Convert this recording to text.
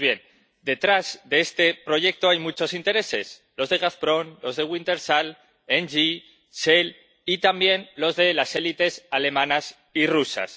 Pues bien, detrás de este proyecto hay muchos intereses los de Gazprom, los de Wintershall, NG, Shell, y también los de las élites alemanas y rusas.